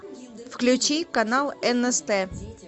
включи канал нст